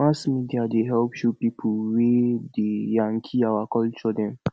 mass media dey help show pipo wey dey yankee our culture dem